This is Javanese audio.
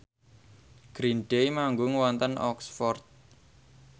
Green Day manggung wonten Oxford